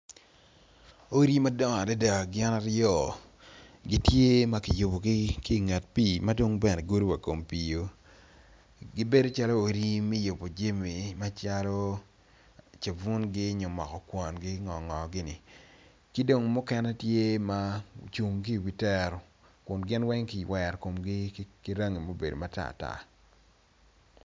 Odi madongo adada gin aryo gitye makiyubogi kinget pi madong bene gudo wakom pi o gibedo calo odi me yubo jami ma calo sabunygi nyo moko kwongi nyo ngongo gini ki gong mukene tye ma ocung ki wi tero kun gin weng ki wero komgi ki rangi mubedo matartar.